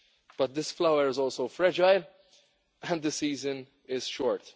But this flower is also fragile and the season is short.